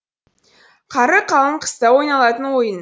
қары қалың қыста ойналатын ойын